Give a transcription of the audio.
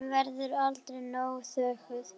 Hún verður aldrei nóg þökkuð.